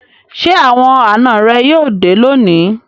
Ṣé àwọn àná rẹ yóò dé lónìí?